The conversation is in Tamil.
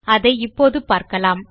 அதை இப்போது பார்க்கலாம்